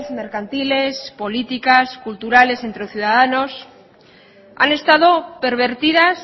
mercantiles políticas culturales entres ciudadanos han estado pervertidas